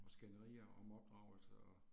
Og skænderier om opdragelse og